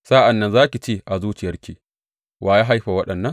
Sa’an nan za ki ce a zuciyarki, Wa ya haifa waɗannan?